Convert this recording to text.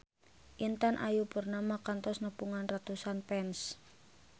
Intan Ayu Purnama kantos nepungan ratusan fans